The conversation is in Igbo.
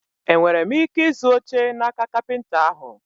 E nwere m ike ịzụ oche n'aka kapịnta ahụ?